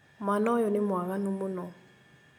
Mwana ũyũ nĩ mwaganu mũno